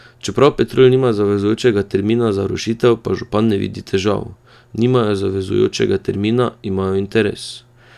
Čeprav Petrol nima zavezujočega termina za rušitev, pa župan ne vidi težav: "Nimajo zavezujočega termina, imajo interes.